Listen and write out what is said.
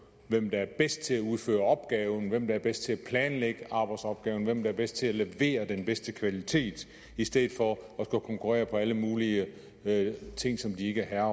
hvem der er bedst til at udføre opgaven hvem der er bedst til at planlægge arbejdsopgaven hvem der er bedst til at levere den bedste kvalitet i stedet for at skulle konkurrere på alle mulige ting som de ikke er